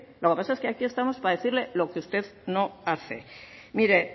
lo que pasa es que aquí estamos para decirle lo que usted no hace mire